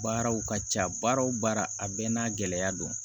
Baaraw ka ca baara o baara a bɛɛ n'a gɛlɛya don